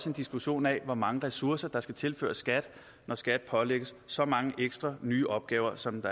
en diskussion af hvor mange ressourcer der skal tilføres skat når skat pålægges så mange nye opgaver som